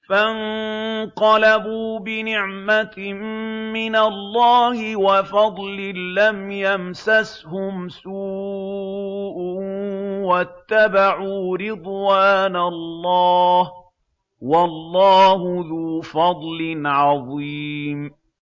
فَانقَلَبُوا بِنِعْمَةٍ مِّنَ اللَّهِ وَفَضْلٍ لَّمْ يَمْسَسْهُمْ سُوءٌ وَاتَّبَعُوا رِضْوَانَ اللَّهِ ۗ وَاللَّهُ ذُو فَضْلٍ عَظِيمٍ